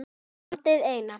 Landið eina.